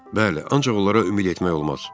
Bəli, ancaq onlara ümid etmək olmaz.